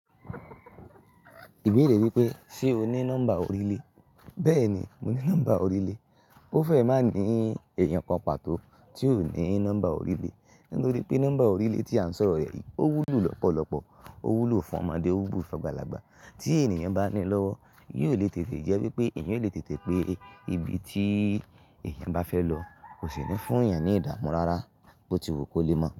Ìbéèrè wípé ṣe o ní nọ́mbà orílẹ̀? Bẹ́ẹ̀ni, mo ní nọ́mbà orílẹ̀. Ó fẹ́ má ní èèyàn papà tó tí ò ní nọ́mbà orílẹ̀, nítorí pé nọ́mbà orílẹ̀ tí a ń sọ rẹ̀ yìí ó wúlò lọ́pọ̀lọpọ̀, ó wúlò fún ọmọdé, ó wúlò fún àgbàlagbà. Tí ènìyàn bá ní lọ́wọ́, yóò lè tètè jẹ́ wípé ènìyàn lè tètè pé ibi tí èèyàn bá fẹ́ lọ kò sì ní fún èèyàn ní ìdámọ̀ rárá bó ti wo kó lé mọ́